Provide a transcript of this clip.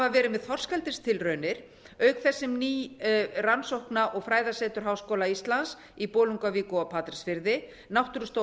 verið með þorskeldistilraunir auk þess sem ný rannsókna og fræðasetur háskóla íslands í bolungarvík og á patreksfirði náttúrustofa